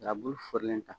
Arabulu fɔrilen ta